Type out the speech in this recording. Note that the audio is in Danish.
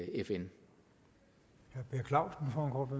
fn som herre